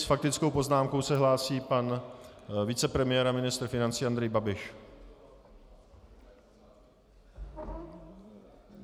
S faktickou poznámkou se hlásí pan vicepremiér a ministr financí Andrej Babiš.